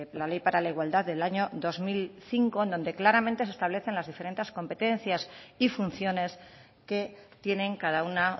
la ley para la igualdad del año dos mil cinco en donde claramente se establecen las diferentes competencias y funciones que tienen cada una